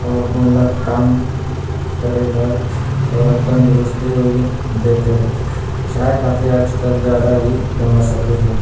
वो अपन ला काम करे बर थोड़े तंदुरस्ती वोई देत हे चाय कॉफ़ी आजकल ज्यादा ही फेमस होगे हे।